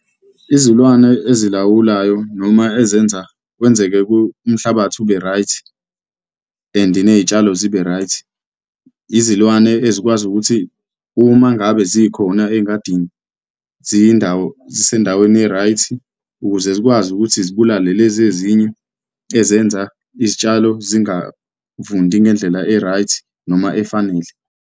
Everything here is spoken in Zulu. Izilwane ezilawulayo noma ezenza kwenzeke umhlabathi ube right and ney'tshalo zibe right, izilwane ezikwazi ukuthi uma ngabe zikhona uma engadini ziyindawo, zisendaweni e-right ukuze zikwazi ukuthi zibulale lezi ezinye ezenza izitshalo zingavundi ngendlela e-right, noma efanele.